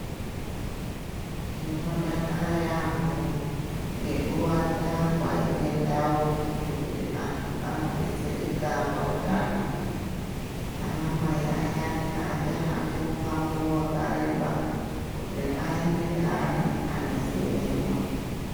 Tinodakara yaampho ngekuwanda kwaite ndau, dzekuti antu anodetsereka pautano. Anamai ayani aachahambi mumango wakareba, kuti aende neana, anozemenwa.